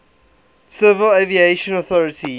civil aviation authority